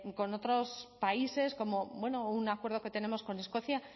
con otros países como bueno o un acuerdo que tenemos con escocia